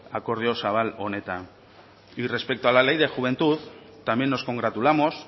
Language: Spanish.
akordio zabal honetan y respecto a la ley de juventud también nos congratulamos